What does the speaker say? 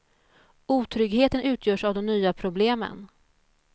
Otryggheten utgörs av de nya problemen.